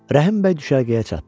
Rəhim bəy düşərgəyə çatdı.